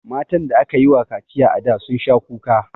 Matan da aka yi wa kaciya a da sun sha kuka